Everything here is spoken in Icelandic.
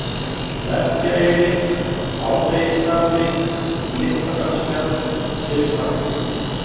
Merkjaeyri, Hádegisstapi, Litladalsfjall, Syðri-Partur